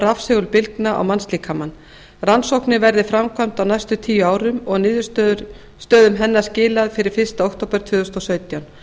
rafsegulbylgna á mannslíkamann rannsóknin verði framkvæmd á næstu tíu árum og niðurstöðum hennar skilað fyrir fyrsta október tvö þúsund og sautján